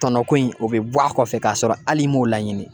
Tɔnɔko in o bi bɔ a kɔfɛ k'a sɔrɔ hali i m'o laɲini.